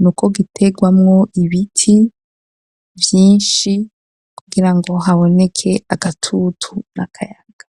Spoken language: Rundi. ni uko gitegwamwo, ibiti vyinshi, kugira ngo, haboneke agatutu, n'akayaga.